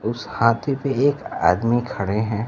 उस हाथी पे एक आदमी खड़े हैं।